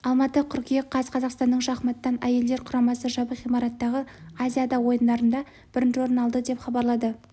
алматы қыркүйек қаз қазақстанның шахматтан әйелдер құрамасы жабық ғимараттағы азиада ойындарында бірінші орын алды деп хабарлады